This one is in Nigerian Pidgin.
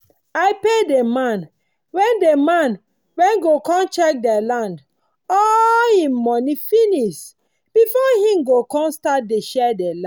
i pay dey man wen dey man wen go com check dey land all him moni finis before him come start dey share d land